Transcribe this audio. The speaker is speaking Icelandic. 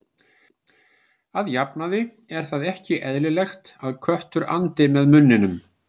Að jafnaði er það ekki eðlilegt að köttur andi með munninum.